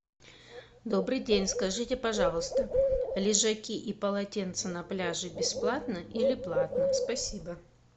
добрый день скажите пожалуйста лежаки и полотенца на пляже бесплатно или платно спасибо